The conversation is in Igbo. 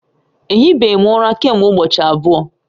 Ehi be m ura kemgbe ubochi abuo